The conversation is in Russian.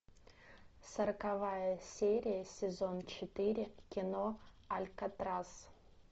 сороковая серия сезон четыре кино алькатрас